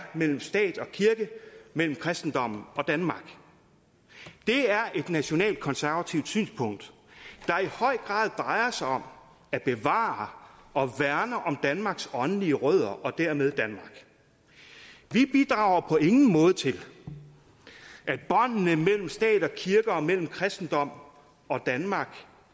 mellem stat og kirke mellem kristendommen og danmark det er et nationalkonservativt synspunkt der i høj grad drejer sig om at bevare og værne om danmarks åndelige rødder og dermed danmark vi bidrager på ingen måde til at båndene mellem stat og kirke og mellem kristendom og danmark